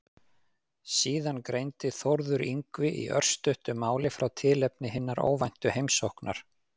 Síðan greindi Þórður Yngvi í örstuttu máli frá tilefni hinnar óvæntu heimsóknar.